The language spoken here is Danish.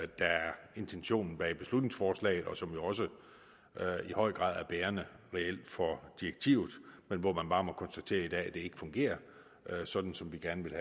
der er intentionen bag beslutningsforslaget og som jo også i høj grad reelt er bærende for direktivet men hvor man bare må konstatere at det ikke fungerer sådan som vi gerne vil